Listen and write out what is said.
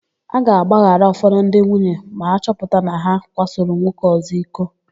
A ga-agbaghara ụfọdụ ndị nwunye ma a chọpụta na ha kwasoro nwoke ọ̀zọ́ iko.